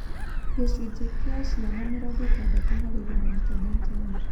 gĩcunjĩ kĩa ciana mĩrongo ĩtandatũ harĩ igana Intaneti-inĩ.